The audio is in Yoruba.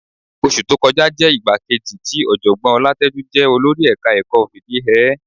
Oṣù tó kọjá jẹ́ ìgbà kejì tí Ọ̀jọ̀gbọ́n Ọlátẹ́jú jẹ olórí ẹ̀ka-ẹ̀kọ́ fìdí hẹ ẹ́